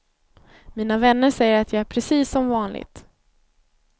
Mina vänner säger att jag är precis som vanligt.